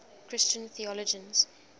christian theologians